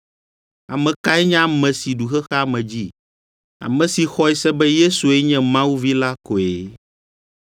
Ame kae nye ame si ɖu xexea me dzi? Ame si xɔe se be Yesue nye Mawu Vi la koe.